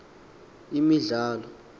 imidlalo